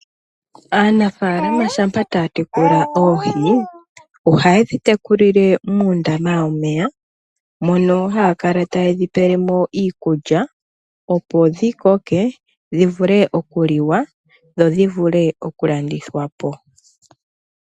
Aanafalama shampa taya tekula oohi ohaye dhi tekulile muundama womeya mono haya kala taye dhi pelemo iikulya, opo dhi koke dhi vule okuliwa. Dho dhi vule okulandithwapo.